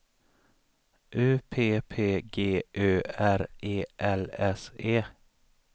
U P P G Ö R E L S E